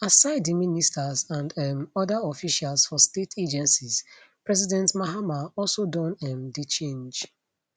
aside di ministers and um oda officials for state agencies president mahama also don um dey change